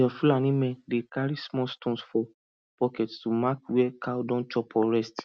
dem fulani men dey carry small stones for pocket to mark where cow don chop or rest